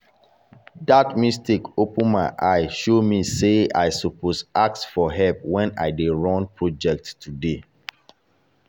that mistake open my eye show me say i suppose ask for help when i dey run project today.